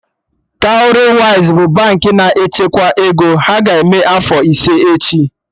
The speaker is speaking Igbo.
Cowrywise bụ Baankị na-echekwa ego, ha ga-eme afọ ise echi